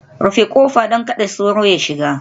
Rufe kofa, don kada sauro ya shiga